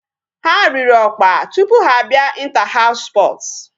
Ha riri ọkpa tupu ha abịa inter house sports.